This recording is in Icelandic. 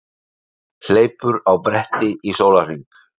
Hleypur á bretti í sólarhring